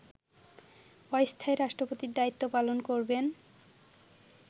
অস্থায়ী রাষ্ট্রপতির দায়িত্ব পালন করবেন